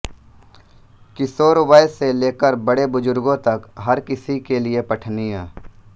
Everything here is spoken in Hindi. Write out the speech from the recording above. किशोर वय से लेकर बड़ेबुजुर्गों तक हर किसी के लिए पठनीय